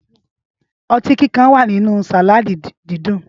Ọtí kíkan wà nínú sàládì dídùn.